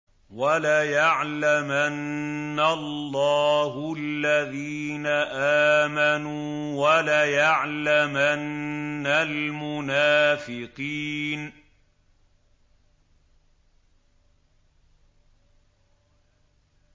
وَلَيَعْلَمَنَّ اللَّهُ الَّذِينَ آمَنُوا وَلَيَعْلَمَنَّ الْمُنَافِقِينَ